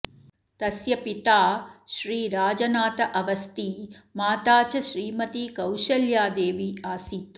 तस्य पिता श्री राजनाथ अवस्थी माता च श्रीमती कौशल्यादेवी आसीत्